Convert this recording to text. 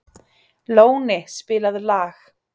Lóni, spilaðu lag.